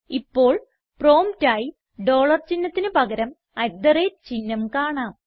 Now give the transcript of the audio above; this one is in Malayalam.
ഇപ്പോൾ പ്രോംപ്റ്റ് ആയി ഡോളർ ചിഹ്നത്തിന് പകരം അട്ട് തെ റേറ്റ് ചിഹ്നം കാണാം